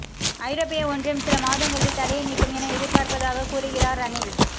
ஐரோப்பிய ஒன்றியம் சில மாதங்களில் தடையை நீக்கும் என எதிர்பார்ப்பதாக கூறுகிறார் ரணில்